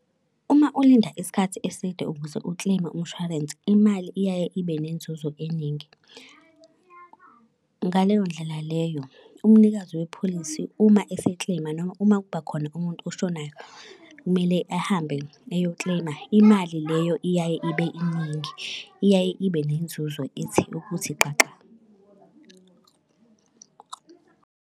Uma ulinda isikhathi eside ukuze u-claim-e umshwarensi, imali iyaye ibe nenzuzo eningi. Ngaleyo ndlela leyo umnikazi wepholisi uma ese-claim-a noma uma kuba khona umuntu oshonayo, kumele ahambe eyo-claim-a. Imali leyo iyaye ibe iningi, iyaye ibe nenzuzo ithi ukuthi xaxa.